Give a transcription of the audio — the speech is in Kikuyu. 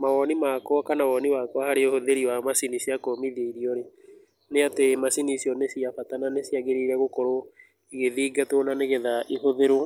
Mawoni makwa kana woni wakwa harĩ ũhũthĩri wa macini cia kũmithia irio rĩ, nĩ atĩ macini icio nĩ cia bata na nĩciagĩrĩire gũkorwo igĩthingatwo na nĩgetha ihũthĩrwo,